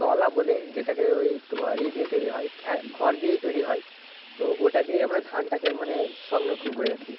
তলা বলে, যেটাকে ঐ তোমার খড় দিয়েই তৈরিহয়। তো ঐটা দিয়েই আমরা ধানটা কে মানে সংরক্ষণ করে রাখি।